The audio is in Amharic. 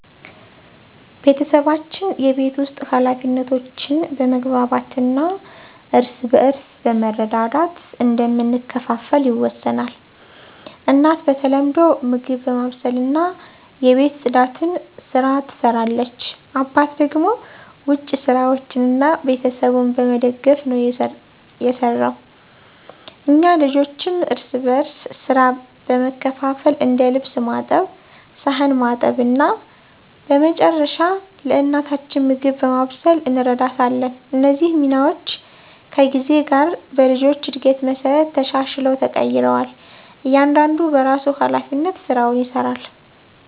ቤተሰባችን የቤት ውስጥ ኃላፊነቶችን በመግባባት እና እርስ በርስ በመረዳዳት እንደምንከፋፈል ይወሰናል። እናት በተለምዶ ምግብ በማብሰልና የቤት ጽዳትን ስራ ትሰራለች አባት ደግሞ ውጭ ስራዎችን እና ቤተሰቡን በመደገፍ ነው የሰራው። እኛ ልጆችም እርስ በርስ ሥራ በመካፈል እንደ ልብስ ማጠብ ሳህን ማጠብ እና በመጨረሻ ለእናታችን ምግብ በማብሰል እንረዳታለን። እነዚህ ሚናዎች ከጊዜ ጋር በልጆች እድገት መሠረት ተሻሽለው ተቀይረዋል እያንዳንዱ በራሱ ሀላፊነት ስራውን ይሰራል።